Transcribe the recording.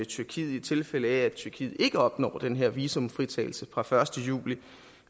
tyrkiet i tilfælde af at tyrkiet ikke opnår den her visumfritagelse fra den første juli